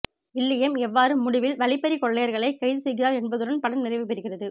William எவ்வாறு முடிவில் வழிப்பறிக் கொள்ளையர்களைக் கைது செய்கிறார் என்பதுடன் படம் நிறைவுபெறுகிறது